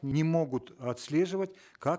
не могут отслеживать как